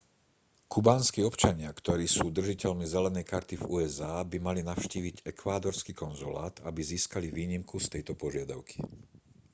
kubánski občania ktorí sú držiteľmi zelenej karty v usa by mali navštíviť ekvádorský konzulát aby získali výnimku z tejto požiadavky